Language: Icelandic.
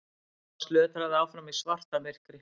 Thomas lötraði áfram í svartamyrkri.